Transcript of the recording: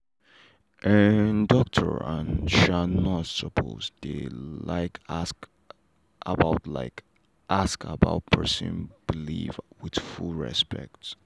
um doctor and um nurse suppose dey like ask about like ask about person belief with full respect.